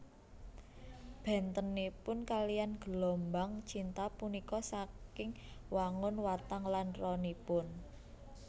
Bèntenipun kaliyan gelombang cinta punika saking wangun watang lan ronipun